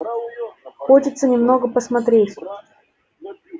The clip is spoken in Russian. хочется немного посмотреть